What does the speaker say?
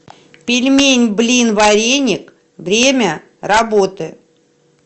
пельменьблинвареник время работы